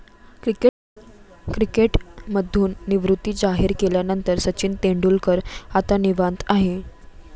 क्रिकेटमधून निवृत्ती जाहीर केल्यानंतर सचिन तेंडुलकर आता निवांत आहे.